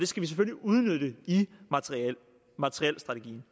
skal vi selvfølgelig udnytte i materielstrategien